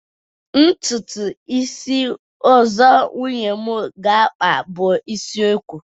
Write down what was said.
ntutu isi ozo Nwunye m ga akpa bu isi eko